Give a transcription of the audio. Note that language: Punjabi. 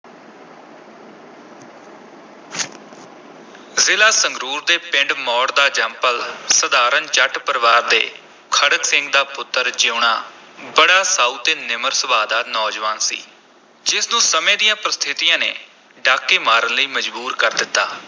ਜ਼ਿਲ੍ਹਾ ਸੰਗਰੂਰ ਦੇ ਪਿੰਡ ਮੌੜ ਦਾ ਜੰਮਪਲ ਸਾਧਾਰਨ ਜੱਟ ਪਰਿਵਾਰ ਦੇ ਖੜਗ ਸਿੰਘ ਦਾ ਪੁੱਤਰ ਜੀਊਣਾ ਬੜਾ ਸਾਊ ਤੇ ਨਿਮਰ ਸੁਭਾਅ ਦਾ ਨੌਜਵਾਨ ਸੀ, ਜਿਸ ਨੂੰ ਸਮੇਂ ਦੀਆਂ ਪ੍ਰਸਥਿਤੀਆਂ ਨੇ ਡਾਕੇ ਮਾਰਨ ਲਈ ਮਜਬੂਰ ਕਰ ਦਿੱਤਾ।